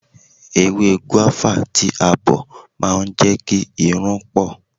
Ewé gúávà tí a bọ̀ ma ń jẹ́ kí irun pọ̀.